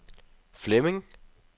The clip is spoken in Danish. Flemming